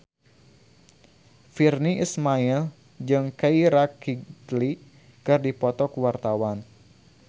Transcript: Virnie Ismail jeung Keira Knightley keur dipoto ku wartawan